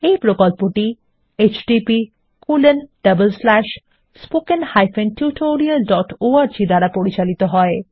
এই প্রকল্পটি httpspoken tutorialorg দ্বারা পরিচালিত হয়